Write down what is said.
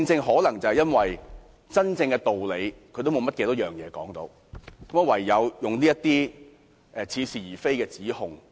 可能因為他們無法說出真正的道理，唯有搬出這些似是而非的指控。